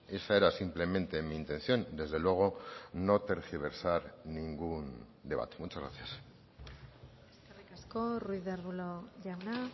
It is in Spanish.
esa era simplemente mi intención desde luego no tergiversar ningún debate muchas gracias eskerrik asko ruiz de arbulo jauna